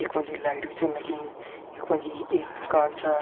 यख मा जी लाइट भी छन लगीं यख मा जी एक मकान छा